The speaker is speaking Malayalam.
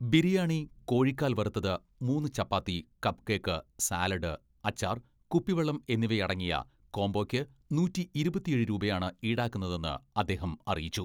ബിരിയാണി, കോഴിക്കാൽ വറുത്തത്, മൂന്ന് ചപ്പാത്തി, കപ് കേക്ക്, സാലഡ്, അച്ചാർ, കുപ്പിവെള്ളം എന്നിവയടങ്ങിയ കോംബോയ്ക്ക് നൂറ്റിയിരുപത്തിയേഴ് രൂപയാണ് ഈടാക്കുന്നതെന്ന് അദ്ദേഹം അറിയിച്ചു.